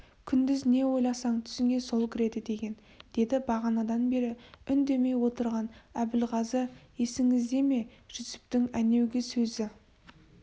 күндіз не ойласаң түсіңе сол кіреді деген деді бағанадан бері үндемей отырған әбілғазы есіңізде ме жүсіптің әнеугі сөзі